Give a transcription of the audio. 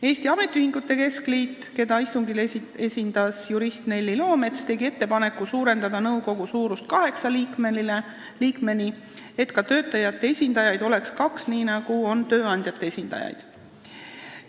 Eesti Ametiühingute Keskliit, keda istungil esindas jurist Nelli Loomets, tegi ettepaneku suurendada nõukogu suurust kaheksa liikmeni, et ka töötajate esindajaid oleks kaks, nii nagu on tööandjate esindajaid.